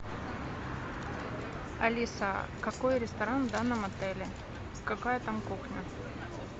алиса какой ресторан в данном отеле какая там кухня